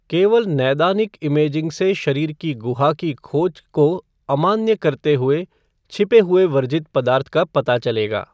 केवल नैदानिक इमेजिंग से शरीर की गुहा की खोज को अमान्य करते हुए छिपे हुए वर्जित पदार्थ का पता चलेगा।